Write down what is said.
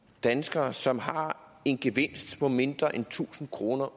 danskere som har en gevinst på mindre end tusind kroner